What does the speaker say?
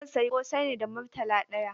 Zan sayi ƙosai ne da Murtala ɗaya.